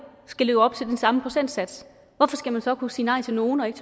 skal leve op til den samme procentsats hvorfor skal man så kunne sige nej til nogle og ikke